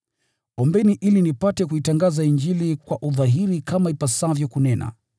Ombeni ili nipate kuitangaza Injili kwa udhahiri kama ipasavyo kunena.